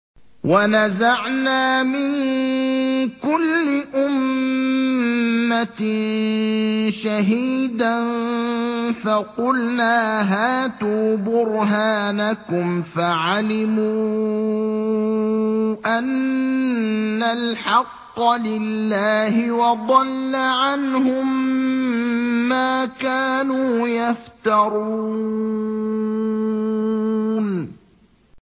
وَنَزَعْنَا مِن كُلِّ أُمَّةٍ شَهِيدًا فَقُلْنَا هَاتُوا بُرْهَانَكُمْ فَعَلِمُوا أَنَّ الْحَقَّ لِلَّهِ وَضَلَّ عَنْهُم مَّا كَانُوا يَفْتَرُونَ